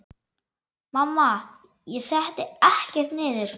Mamma: Ég setti ekkert niður!